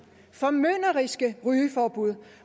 formynderiske rygeforbud